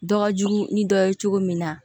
Dɔ ka jugu ni dɔ ye cogo min na